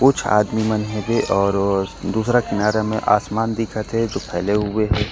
कुछ आदमी मन हवे और दूसरा किनारे में आसमान दिखत हे जो फैले हुए हे।